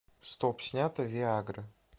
стоп снято виа гра